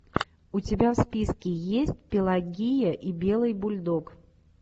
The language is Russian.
у тебя в списке есть пелагия и белый бульдог